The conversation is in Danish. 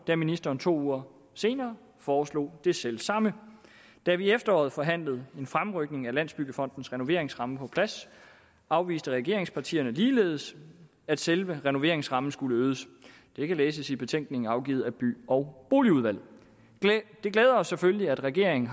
da ministeren to uger senere foreslog det selv samme da vi i efteråret forhandlede en fremrykning af landsbyggefondens renoveringsramme på plads afviste regeringspartierne ligeledes at selve renoveringsrammen skulle øges det kan læses i betænkningen afgivet af by og boligudvalget det glæder os selvfølgelig at regeringen